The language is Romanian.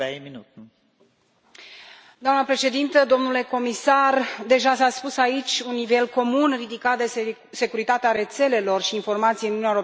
Doamnă președintă, domnule comisar, deja s a spus aici, un nivel comun ridicat de securitate a rețelelor și informației în Uniunea Europeană este o necesitate.